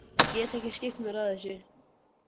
Ég get ekki skipt mér af þessu.